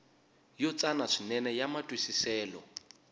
yo tsana swinene ya matwisiselo